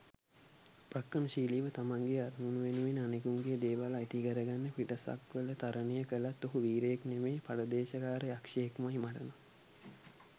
උපක්‍රමශීලිව තමන්ගේ අරමුණු වෙනුවෙන් අනෙකෙකුගේ දේවල් අයිතිකරගන්න පිටසක්වල තරණය කලත් ඔහු වීරයෙක් නෙමේ පරදේශක්කාර යක්ෂයෙක්මයි මටනම්.